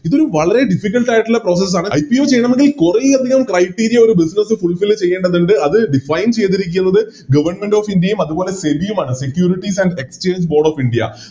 ഇതൊരു വളരെ Difficult ആയിട്ടുള്ള Process ആണ് Ipo ചെയ്യണമെങ്കിൽ കുറെയധികം Criteria business ചെയ്യേണ്ടതുണ്ട് അത് Design ചെയ്തിരിക്കുന്നത് Government of india യും അതുപോലെ SEBI യുമാണ് Securities and exchange board of india